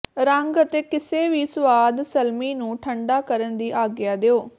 ਰੰਗ ਅਤੇ ਕਿਸੇ ਵੀ ਸੁਆਦ ਸਲਮੀ ਨੂੰ ਠੰਡਾ ਕਰਨ ਦੀ ਆਗਿਆ ਦਿਓ